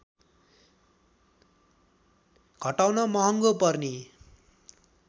घटाउन महँगो पर्ने